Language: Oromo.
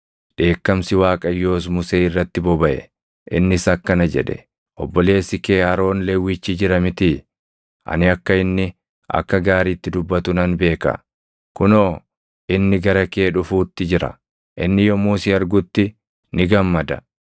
Dheekkamsi Waaqayyoos Musee irratti bobaʼe; innis akkana jedhe; “Obboleessi kee Aroon Lewwichi jira mitii? Ani akka inni akka gaariitti dubbatu nan beeka. Kunoo, inni gara kee dhufuutti jira. Inni yommuu si argutti ni gammada.